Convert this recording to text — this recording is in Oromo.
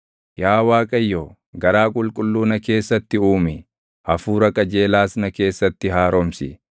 Yaa Waaqayyo, garaa qulqulluu na keessatti uumi; Hafuura qajeelaas na keessatti haaromsi.